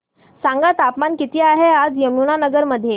सांगा तापमान किती आहे आज यमुनानगर मध्ये